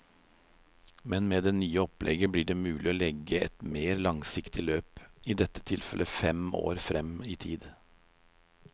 Men med det nye opplegget blir det mulig å legge et mer langsiktig løp, i dette tilfellet fem år frem i tid.